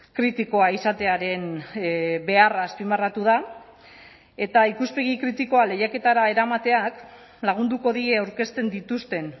kritikoa izatearen beharra azpimarratu da eta ikuspegi kritikoa lehiaketara eramateak lagunduko die aurkezten dituzten